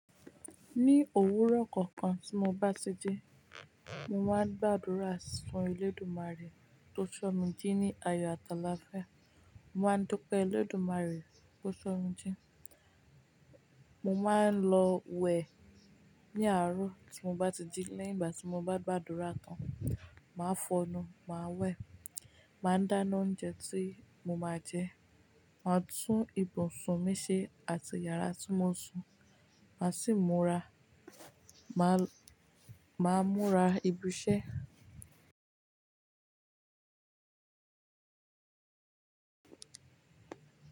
Ní òwúrọ̀ kankan tí mo bá ti dé, mo máa ń gbàdúrà sun Olódùmarè tó sọ mi jí ní ayọ̀ àtàlafia Mo máa ń dúpẹ́ Olódùmarè tó sọ mí jí. Mo máa ń lọ wẹ ní àárọ̀ tí mo bá ti dé. Lẹ́yìn ìgbà tí mo bá gbàdúrà tán, màá fọnu, màá wẹ̀, màá dáná oúnjẹ tí mo máa jẹ, màá tún ibùn sun mí ṣe àti yàrá tí mo ń sùn, màá sì múra, màá, màá múra ìbúṣẹ́